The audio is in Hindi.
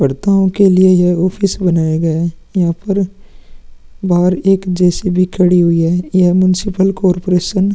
लड़को के लिए ये ऑफिस बनाया गया है वहां पर बाहर एक जे.सी.बी. खड़े हुऐ है ये मुन्सिपल कॉपरेशन --